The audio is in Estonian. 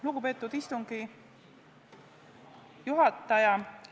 Lugupeetud istungi juhataja!